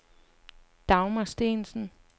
Dagmar Steensen